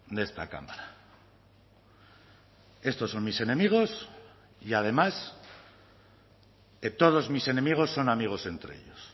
de esta cámara estos son mis enemigos y además todos mis enemigos son amigos entre ellos